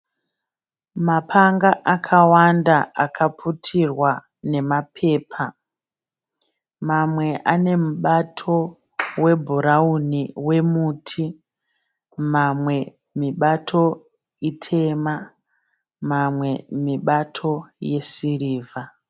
Mapanga akawanda akaputirwa nemapepa. Mamwe anemubato webhurauni wemuti mamwe mibato itema mamwe mibato yesirivha.